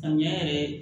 Samiya yɛrɛ ye